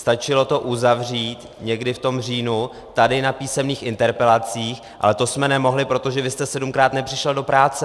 Stačilo to uzavřít někdy v tom říjnu tady na písemných interpelacích, ale to jsme nemohli, protože vy jste sedmkrát nepřišel do práce.